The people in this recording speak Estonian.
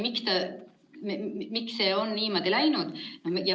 Miks see on niimoodi läinud?